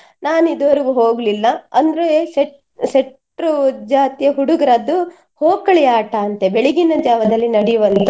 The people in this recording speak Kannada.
ನಾನ್ ಇದುವರೆಗೆ ಹೋಗ್ಲಿಲ್ಲ ಅಂದ್ರೆ ಸೆಟ್~ ಶೆಟ್ರು ಜಾತಿಯ ಹುಡುಗ್ರದ್ದು ಹೋಕಳಿ ಆಟ ಅಂತೆ ಬೆಳಗಿನ ಜಾವದಲ್ಲಿ ನಡಿಯುವಂತದ್ದು.